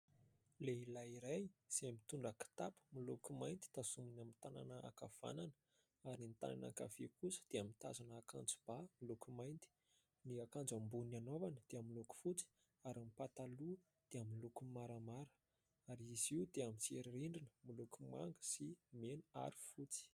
Lehilay iray izay mitondra kitapo miloko mainty tazominy amin'ny tanana ankavanana ary ny tananany ankavia kosa dia mitazona akanjom-ba miloko mainty, ny akanjo ambon'ny anaovany dia amin'ny loko fotsy ary pataloha dia amin'ny loko maramara ary izy io dia amin'ny si eririndrina miloko manga sy mena ary fotsy.